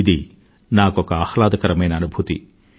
ఇది నాకొక ఆహ్లాదకరమైన అనుభూతి